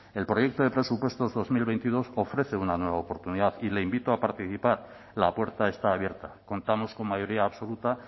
el proyecto de presupuestos dos mil veintidós ofrece una nueva oportunidad y le invito a participar la puerta está abierta contamos con mayoría absoluta